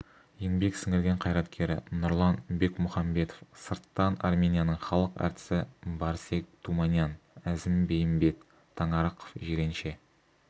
еңбек сіңірген қайраткері нұрлан бекмұхамбетов сырттан арменияның халық әртісі барсег туманян әзім бейімбет таңарықов жиренше